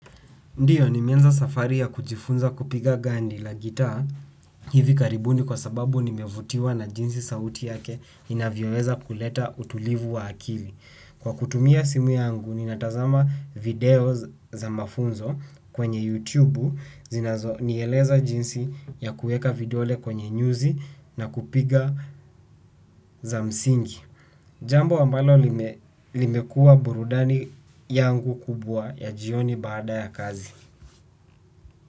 Ndiyo nimeanza safari ya kujifunza kupiga gandi la gitaa hivi karibuni kwa sababu nimevutiwa na jinsi sauti yake inavyoweza kuleta utulivu wa akili. Kwa kutumia simu yangu ninatazama video za mafunzo kwenye YouTube zinazonieleza jinsi ya kueka vidole kwenye nyuzi na kupiga za msingi. Jambo ambalo limekuwa burudani yangu kubwa ya jioni baada ya kazi.